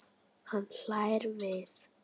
Hann hlær við.